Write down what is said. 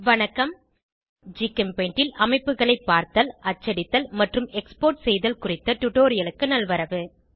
வணக்கம் ஜிகெம்பெய்ண்ட் ல் அமைப்புகளை பார்த்தல் அச்சடித்தல் மற்றும் எக்ஸ்போர்ட் செய்தல் குறித்த டுடோரியலுக்கு நல்வரவு